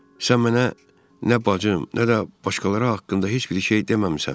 Sən mənə nə bacım, nə də başqaları haqqında heç bir şey deməmisən.